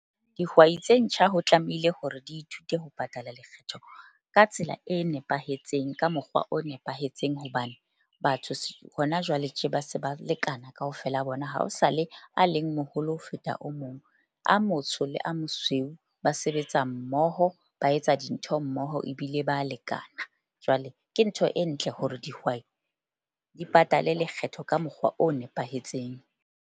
Dihwai tse ntjha ho tlamehile hore di ithute ho patala lekgetho ka tsela e nepahetseng ka mokgwa o nepahetseng. Hobane batho hona jwale tje ba se ba lekana kaofela a bona ha ho sa le a leng moholo ho feta o mong. A motsho le a mosweu ba sebetsa mmoho, ba etsa dintho mmoho ebile ba lekana. Jwale ke ntho e ntle hore dihwai di patale lekgetho ka mokgwa o nepahetseng.